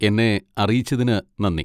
എന്നെ അറിയിച്ചതിന് നന്ദി.